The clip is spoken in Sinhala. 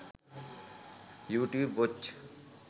youtube watch